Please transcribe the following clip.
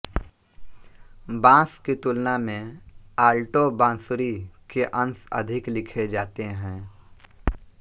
बांस की तुलना में आल्टो बांसुरी के अंश अधिक लिखे जाते हैं